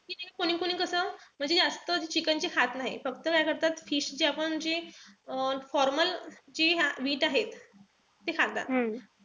कोणीकोणी कस म्हणजे जास्त chicken ची खात नाही. फक्त काय करतात fish ची आपण जे अं formal जे meat आहे. ते खातात.